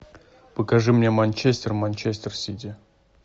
покажи мне манчестер манчестер сити